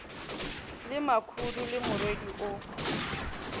le makhudu le morwedi o